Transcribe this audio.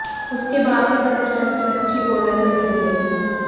उसके बाद यह पता चला कि बच्ची बोरवेल में गिरी है